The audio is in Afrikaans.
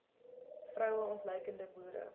vroue ontluikende boere